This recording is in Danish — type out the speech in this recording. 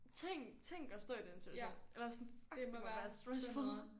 tænk tænk at stå i den situation eller sådan fuck det må være stressful